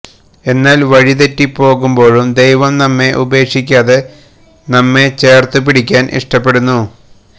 എന്നാല് വഴിതെറ്റി പോകുമ്പോഴും ദൈവം നമ്മെ ഉപേക്ഷിക്കാതെ നമ്മെ ചേര്ത്തു പിടിക്കുവാന് ഇഷ്ടപ്പെടുന്നു